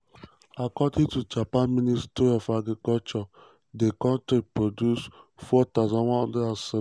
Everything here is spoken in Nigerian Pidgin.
according to japan ministry of agriculture di country produce 4176 tons of matcha for 2023 – almost three times di amount for010.